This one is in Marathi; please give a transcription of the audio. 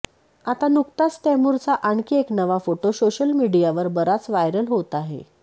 आता नुकताच तैमूरचा आणखी एक नवा फोटो सोशल मीडियावर बराच व्हायरल होत आहे